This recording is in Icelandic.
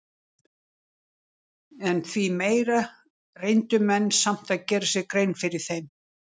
En því meira reyndu menn samt að gera sér grein fyrir þeim.